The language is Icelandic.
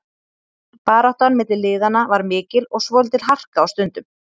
Baráttan milli liðanna var mikil og svolítil harka á stundum.